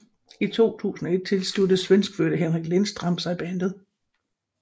I 2001 tilsluttede svenskfødte Henrik Lindstrand sig bandet